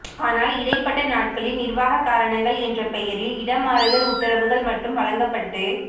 ஆனால் இடைப்பட்ட நாட்களில் நிர்வாக காரணங்கள் என்ற பெயரில் இடமாறுதல் உத்தரவுகள் மட்டும் வழங்கப்பட்டு